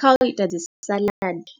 kha u ita dzi saḽadi,